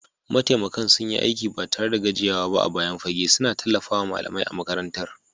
Mataimakan sun yi aiki ba tare da gajiyawa ba a bayan fage, suna tallafawa malamai a makarantar.